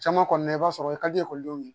Caman kɔni i b'a sɔrɔ i ka di ekɔlidenw ye